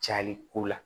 Cali ko la